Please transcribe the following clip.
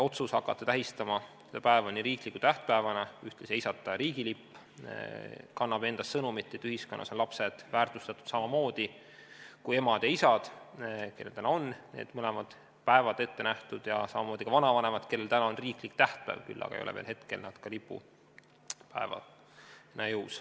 Otsus hakata tähistama seda päeva riikliku tähtpäevana ja ühtlasi heisata riigilipp kannab endas sõnumit, et ühiskonnas on lapsed väärtustatud samamoodi kui emad ja isad, kellel täna on mõlematel päevad ette nähtud, ja samamoodi ka vanavanematel, kellel on riiklik tähtpäev, küll aga ei ole hetkel see veel lipupäev.